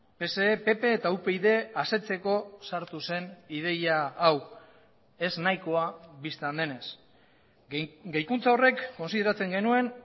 pse pp eta upyd asetzeko sartu zen ideia hau ez nahikoa bistan denez gehikuntza horrek kontsideratzen genuen